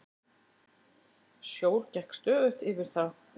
Sjór gekk stöðugt yfir þá.